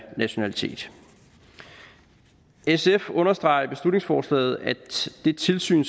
nationalitet sf understreger i beslutningsforslaget at det tilsyn